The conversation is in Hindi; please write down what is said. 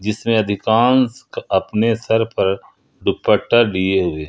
इसमें अधिकांश अपने सर पर दुपट्टा लिए हुए--